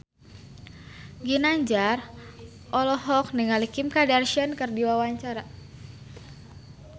Ginanjar olohok ningali Kim Kardashian keur diwawancara